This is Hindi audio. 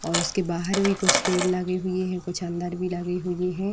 और उसके बाहर भी कुछ पेड़ लगे हुए हैं। कुछ अंदर भी लगे हुए हैं।